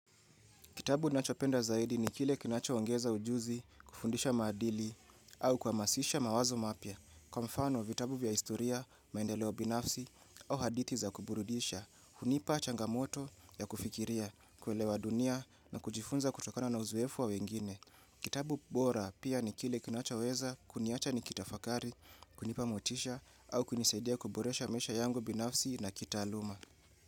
Kitabu nachopenda zaidi ni kile kinachoongeza ujuzi, kufundisha madili, au kuhamasisha mawazo mapia. Kwa mfano, vitabu vya historia, maendeleo binafsi, au hadithi za kuburudisha, hunipa changamoto ya kufikiria, kuelewa dunia na kujifunza kutokana na uzoefu wa wengine. Kitabu bora pia ni kile kinachoweza kuniacha ni kitafakari, kunipa motisha, au kunisaidia kuboresha mesha yangu binafsi na kita aluma.